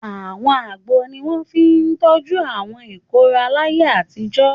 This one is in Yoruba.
Àwọn àgbo ni wọ́n fi tọ́jú àwọn ìkóràn láyé àtijọ́.